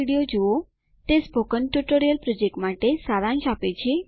httpspoken tutorialorgWhat is a Spoken Tutorial તે spoken tutorial project માટે સારાંશ આપે છે